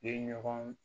Ye ɲɔgɔn